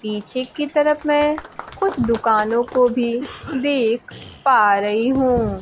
पीछे की तरफ मैं कुछ दुकानों को भी देख पा रही हूं।